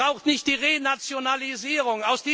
Sie brauchen nicht die Renationalisierung.